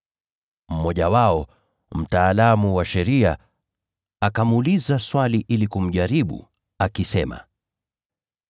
Mmoja wao, mtaalamu wa sheria, akamuuliza swali ili kumjaribu, akisema,